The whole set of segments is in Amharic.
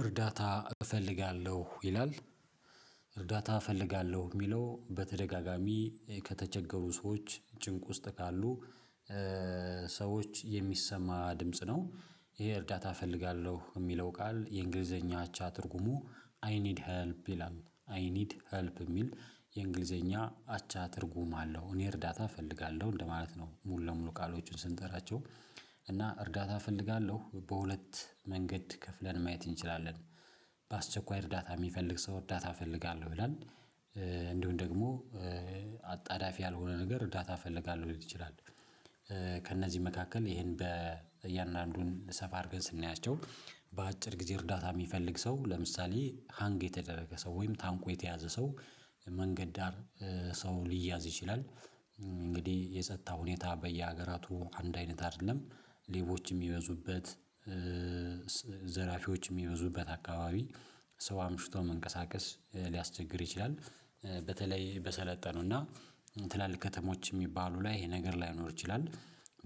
እርዳታ እፈልጋለሁ ይላል። እርዳታ እፈልጋለሁ የሚለው በተደጋጋሚ ከተቸገሩ ሰዎች ጭንቅ ውስጥ ካሉ ሰዎች የሚሰማ ድምጽ ነው። ይሄ እርዳታ እፈልጋለሁ የሚለው ቃል የእንግሊዘኛ አቻ ትርጉሙ አይ ኒድ ሄልፕ ይላል አይ ኒድ ሄልፕ የሚል የእንግሊዘኛ አቻ ትርጉም አለው። እኔ እርዳታ እፈልጋለሁ እንደማለት ነው ሙሉ ለሙሉ ቃሎችን ስንጠራቸው እና እርዳታ እፈልጋለሁ በሁለት መንገድ ከፍለን ማየት እንችላለን። በአስቸኳይ እርዳታ የሚፈልግ ሰው እርዳታ እፈልጋለሁ ይላል። እንደውም ደግሞ አጣዳፊ ያልሆነ ነገር እርዳታ እፈልጋለሁ ሊሆን ይችላል። ከእነዚህ መካከል ይሄን በእያንዳንዱን ሰፋ አድርገን ስናያቸው በአጭር ጊዜ እርዳታ የሚፈልግ ሰው ለምሳሌ ሃንግ የተደረገ ሰው ወይም ታንቆ የተያዘ ሰው መንገድ ዳር ሰው ሊያዝ ይችላል። እንግዲህ የጸጥታ ሁኔታ በየሀገራቱ አንድ አይነት አይደለም ሌቦች የሚበዙበት ዘራፊዎች የሚበዙበት አካባቢ ሰባ ምሽቷ መንቀሳቀስ ሊያስቸግር ይችላል በተለይ በሰለጠኑና ትላልቅ ከተሞች የሚባሉ ላይ ይሄ ነገር ላይኖር ይችላል።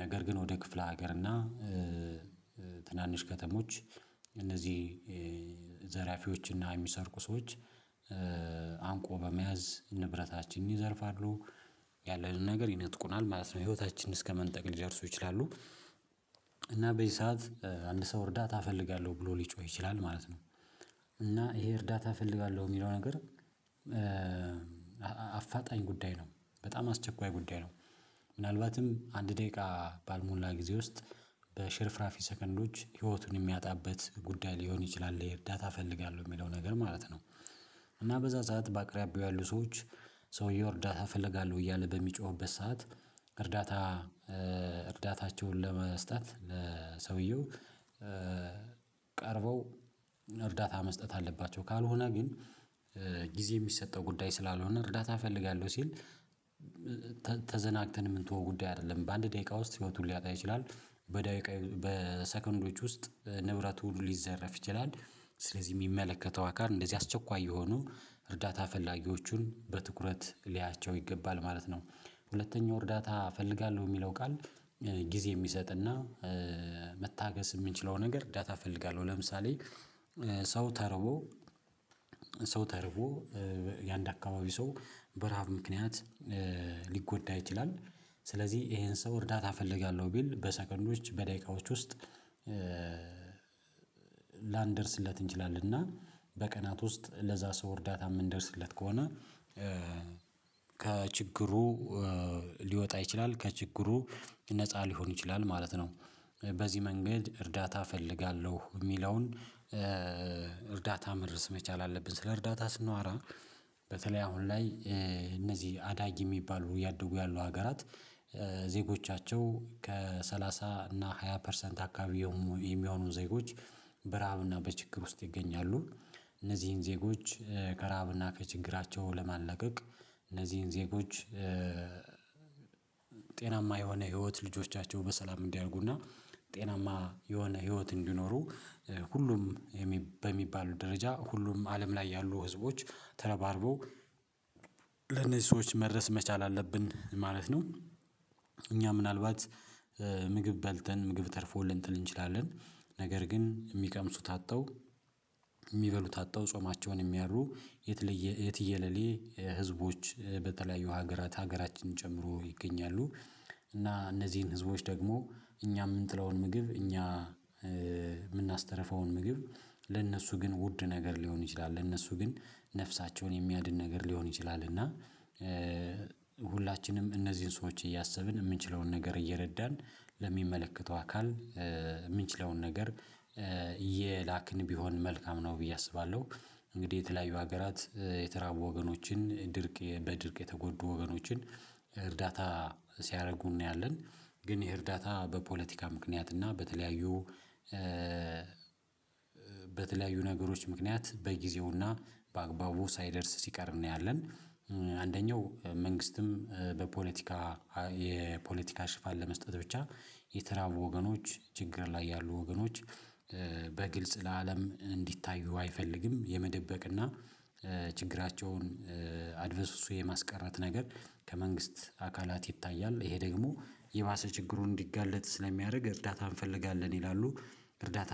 ነገር ግን ወደ ክፍለ ሀገርና እና ትናንሽ ከተሞች እነዚህ ዘራፊዎች እና የሚሰርቁ ሰዎች አንቆ በመያዝ ንብረታችንን ይዘርፋለሁ ያለንን ነገር ይነጥቁናል ማለት ነው ህይወታችንን እስከመንጠቅ ሊደርሱ ይችላሉ። እና በዚህ ሰዓት አንድ ሰው እርዳታ እፈልጋለሁ ብሎ ሊጮህ ይችላል ማለት ነው። እና ይሄ እርዳታ እፈልጋለሁ የሚለው ነገር አፋጣኝ ጉዳይ ነው በጣም አስቸኳይ ጉዳይ ነው። ምናልባትም አንድ ደቂቃ ባልሞላ ጊዜ ውስጥ በሽርፍራፊ ሰከንዶች ህይወቱን የሚያጣበት ጉዳይ ሊሆን ይችላል የዳታ እፈልጋለሁ የሚለው ነገር ማለት ነው። እና በዛ ሰዓት በአቅራቢያው ያሉ ሰዎች ሰውየው እርዳታ እፈልጋለሁ እያለ በሚጮህበት ሰዓት እርዳታ እርዳታቸውን ለመስጠት ለሰውየው ቀርበው እርዳታ መስጠት አለባቸው ካልሆነ ግን ጊዜ የሚሰጠው ጉዳይ ስላልሆነ እርዳታ እፈልጋለሁ ሲል ተዘናግተን የምንተው ጉዳይ አይደለም። በአንድ ደቂቃ ውስጥ ህይወቱን ሌያጣ ይችላል በደቂቃ በሰከንዶች ውስጥ ንብረት ሁሉ ሌዘረፍ ይችላል ስለዚህ የሚመለከተው አካል እንደዚህ አስቸኳይ የሆኑ እርዳታ ፈላጊዎቹን በትኩረት ሌያቸው ይገባል ማለት ነው። ሁለተኛው እርዳታ እፈልጋለሁ የሚለው ቃል ጊዜ የሚሰጥና መታገስ የምንችለው ነገር እርዳታ እፈልጋለሁ ለምሳሌ ሰው ተርቦ ሰው ተርቦ የአንድ አካባቢ ሰው በረሃብ ምክንያት ሊጎዳ ይችላል ስለዚህ ይሄን ሰው እርዳታ እፈልጋለሁ ቢል በሰከንዶች በደቂቃዎች ውስጥ ላንደርስለት እንችላለን እና በቀናት ውስጥ ለዛ ሰው እርዳታ የምንደርስለት ከሆነ ከችግሩ ሊወጣ ይችላል ከችግሩ ነፃ ሊሆን ይችላል ማለት ነው። በዚህ መንገድ እርዳታ እፈልጋለሁ የሚለውን እርዳታ መድረስ መቻል አለብን ስለ እርዳታ ስናወራ በተለይ አሁን ላይ እነዚህ አዳጊ የሚባሉ እያደጉ ያሉ ሀገራት ዜጎቻቸው ከሰላሳ እና ሃያ ፐርሰንት አካባቢ የሚሆኑ ዜጎች በረሀብና በችግር ውስጥ ይገኛሉ። እነዚህን ዜጎች ከርሀብና ከችግራቸው ለማልቀቅ እነዚህን ዜጎች ጤናማ የሆነ ህይወት ልጆቻቸው በሰላም እንዲያደርጉና ጤናማ የሆነ ህይወት እንዲኖሩ ሁሉም በሚባሉ ደረጃ ሁሉም አለም ላይ ያሉ ህዝቦች ተረባርበው ለነዚህ ሰዎች መድረስ መቻል አለብን ማለት ነው። እኛ ምናልባት ምግብ በልተን ምግብ ተርፎ ልንትል እንችላለን ነገር ግን የሚቀምሱት አጥተው የሚበሉት አጥተው ጾማቸውን ያሉ የትየለሌ ህዝቦች በተለያዩ ሀገራት ሀገራችንን ጨምሮ ይገኛሉ። እና እነዚህን ህዝቦች ደግሞ እኛ የምንጥለውን ምግብ እኛ የምናስተርፈውን ምግብ ለእነሱ ግን ውድ ነገር ሊሆን ይችላል ለእነሱ ግን ነፍሳቸውን የሚያድን ነገር ሊሆን ይችላል እና ሁላችንም እነዚህን ሰዎች እያሰብን የምንችለውን ነገር እየረዳን ለሚመለከተው አካል የምንችለውን ነገር እየላክን ቢሆን መልካም ነው ብዬ አስባለሁ። እንግዲህ የተለያዩ ሀገራት የተራቡ ወገኖችን ድርቅ በድርቅ የተጎዱ ወገኖችን እርዳታ ሲያደርጉ እናያለን ግን ይሄ እርዳታ በፖለቲካ ምክንያት እና በተለያዩ በተለያዩ ነገሮች ምክንያት በጊዜውና በአግባቡ ሳይደርስ ሲቀር እናያለን። አንደኛው መንግስትም በፖለቲካ የፖለቲካ ሽፋን ለመስጠት ብቻ የተራቡ ወገኖች ችግር ላይ ያሉ ወገኖች በግልጽ ለአለም እንዲታዩ አይፈልግም የመደበቅና ችግራቸውን አድቨስ እሱ የማስቀረት ነገር ከመንግስት አካላት ይታያል ይሄ ደግሞ የባሰ ችግሩን እንዲጋለጥ ስለሚያደርግ እርዳታ እንፈልጋለን ይላሉ። እርዳታ